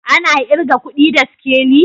Ana irga kudi da sikeli?